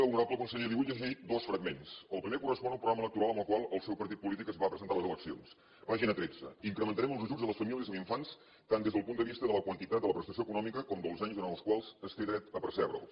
honorable conseller li vull llegir dos fragments el primer correspon al programa electoral amb el qual el seu partit polític es va presentar a les eleccions pàgina tretze incrementarem els ajuts a les famílies amb infants tant des del punt de vista de la quantitat de la prestació econòmica com dels anys durant els quals es té dret a percebre’ls